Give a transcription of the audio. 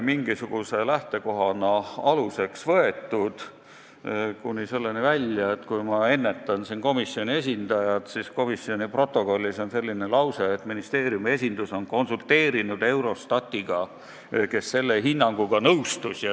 Ennetades komisjoni esindajat, ma märgin ise, et komisjoni protokollis on selline lause, et ministeeriumi esindus on konsulteerinud Eurostatiga, kes selle hinnanguga nõustus.